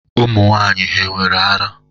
Ụmụ nwanyị hà nwere ara?